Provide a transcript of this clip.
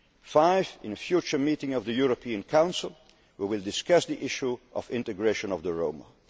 Commission. Five, in a future meeting of the European Council, we will discuss the issue of integration of